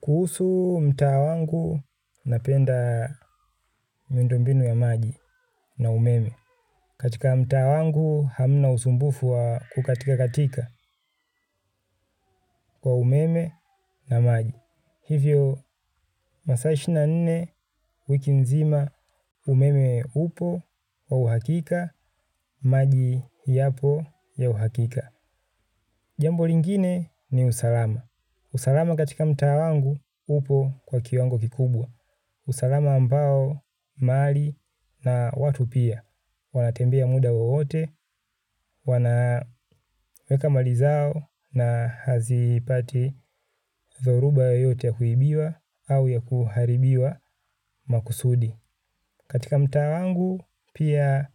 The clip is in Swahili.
Kuhusu mtaa wangu napenda mwendo mbinu ya maji na umeme. Katika mtaa wangu hamna usumbufu wa kukatika katika kwa umeme na maji. Hivyo masaa ishirini na nne wiki mzima umeme upo wa uhakika maji yapo ya uhakika. Jambo lingine ni usalama. Usalama katika mta wangu upo kwa kiwango kikubwa. Usalama ambao mali na watu pia. Wanatembea muda wowote, wanaweka mali zao na hazipati dhoruba yoyote ya kuibiwa au ya kuharibiwa makusudi. Katika mtaa wangu, pia